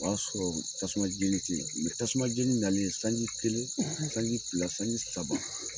O y'a sɔrɔ tasuma jeni te yen. tasuma jeni na len sanji kelen sanji fila sanji saba.